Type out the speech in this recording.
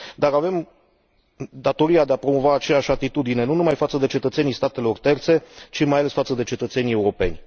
Avem datoria de a promova aceeași atitudine, nu numai față de cetățenii statelor terțe, ci mai ales față de cetățenii europeni.